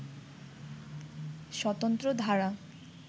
স্বতন্ত্র ধারা